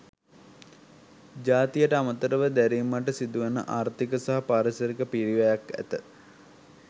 ජාතියට අමරතව දැරිමට සිදුවන ආර්ථික සහ පාරිසරික පිරිවැයක් ඇත.